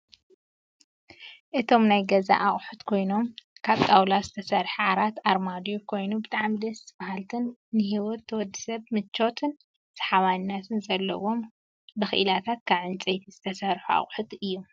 እቶም ናይ ገዛ አቅሑት ኮይኖም ካብ ጣውላ ዝተሰርሐ ዓራት ኣርማድዮ ኮይኑ ብጣዕሚ ደስ በሃልትን ንሂወት ወዲ ሰብ ምቾትን ሰሓባይነትን ዘለዎም ብኪኢላታት ካብ ዕንፀይቲ ዝተሰርሑን ኣቅሑትን እዮም፡፡